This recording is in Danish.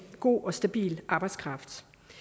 god og stabil arbejdskraft